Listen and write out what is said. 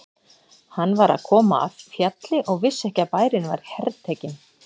Hann var að koma af fjalli og vissi ekki að bærinn var hertekinn.